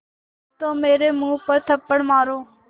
तो मेरे मुँह पर थप्पड़ मारो